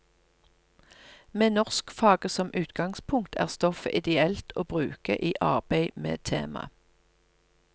Med norskfaget som utgangspunkt er stoffet ideelt å bruke i arbeid med tema.